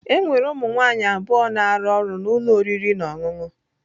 Enwere ụmụ nwanyị abụọ na-arụ ọrụ na ụlọ oriri na ọṅụṅụ.